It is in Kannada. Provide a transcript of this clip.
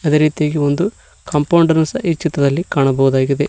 ಅದೇ ರೀತಿ ಇಲ್ಲೊಂದು ಕಾಂಪೌಂಡ ನ್ನು ಸಹ ಈ ಚಿತ್ರದಲ್ಲಿ ಕಾಣಬಹುದಾಗಿದೆ.